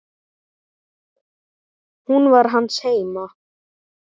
Hún var hans heima.